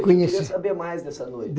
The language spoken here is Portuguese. Conheci. Eu queria saber mais dessa noite.